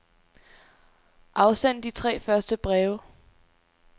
Afsend de tre første breve.